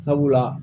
Sabula